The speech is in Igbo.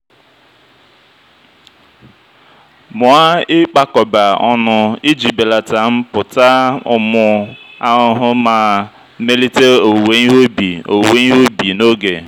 mụa ịkpakọba ọnụ iji belata mpụta ụmụ ahụhụ ma melite owuwe ihe ubi owuwe ihe ubi n'oge.